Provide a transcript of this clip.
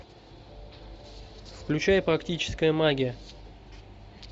включай практическая магия